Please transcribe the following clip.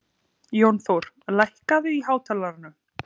Jónþór, lækkaðu í hátalaranum.